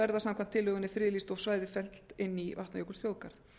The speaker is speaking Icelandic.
verða friðlýst samkvæmt þingsályktunartillögunni og svæðið fellt inn í vatnajökulsþjóðgarð